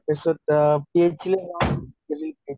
তাৰপিছত অ